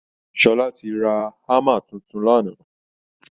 Sọlá ti ra hammer tuntun lánàá